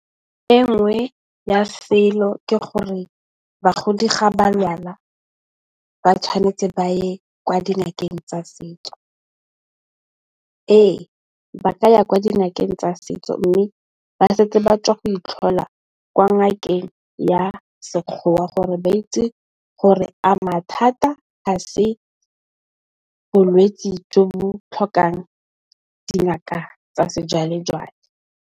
Enngwe ya selo ke gore bagodi ga balwala ba tshwanetse ba ye kwa dingakeng tsa setso. Ee ba ka ya kwa dingakeng tsa setso mme, ba setse ba tswa go itlhola kwa ngakeng ya sekgowa gore ba itse gore a mathata ga se bolwetse jo bo tlhokang dingaka tsa sejwalejwale.